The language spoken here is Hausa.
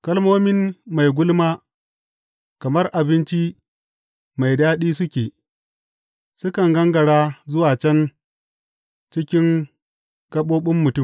Kalmomin mai gulma kamar abinci mai daɗi suke; sukan gangara zuwa can cikin gaɓoɓin mutum.